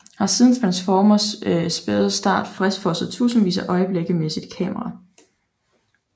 Har siden Transformators spæde start fastfrosset tusindvis af øjeblikke med sit kamera